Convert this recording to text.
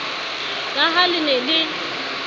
ka ha le ne le